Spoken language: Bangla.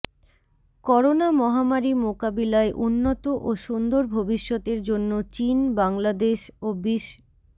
করোনা মহামারি মোকাবিলায় উন্নত ও সুন্দর ভবিষ্যতের জন্য চীন বাংলাদেশ ও বিশ্